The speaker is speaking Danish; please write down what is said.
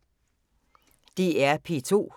DR P2